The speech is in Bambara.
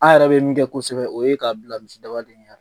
A yɛrɛ bɛ min kɛ kosɛbɛ o ye k'a bila misidaba de ɲɛn.